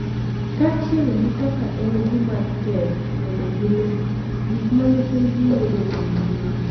Kaachiel gi kaka en gima tek mondo giluw gik ma nyithindgi yudo e mbui.